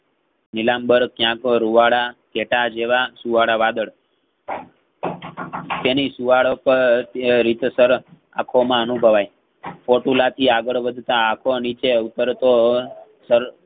નીલામ્બર કાયતો રુવાડા ધેટા જેવા સુવાળાવાદળ તેની સુંવાળો પાર અ રીતસર આખોમાં અનુભવાય ચોટીલાથી અગાળ વધતા આખો નીચે ઉપર તો અ સર